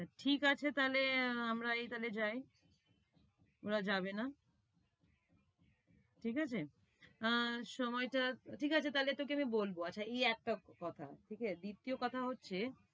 তা ঠিক আছে, তালে আমরাই তাইলে যাই, ওরা যাবে না। ঠিক আছে? আর সময়টা, ঠিক আছে তাইলে তোকে আমি বলবো। আচ্ছা এই একটা কথা। দ্বিতীয় কথা হচ্ছে